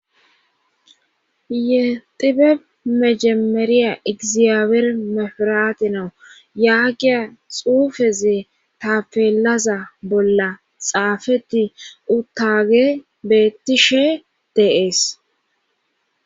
yexibe mejameriya egzabeer mefiraatinau yaagiya xuufezee tafeelaza bolla xaafetti uttage bettishe deees